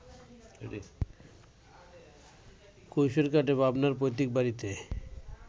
কৈশোর কাটে পাবনার পৈত্রিক বাড়িতে